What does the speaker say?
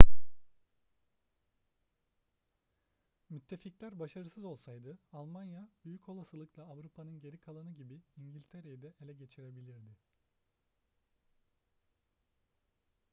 müttefikler başarısız olsaydı almanya büyük olasılıkla avrupa'nın geri kalanı gibi i̇ngiltere'yi de ele geçirebilirdi